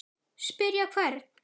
Spyrja hvern?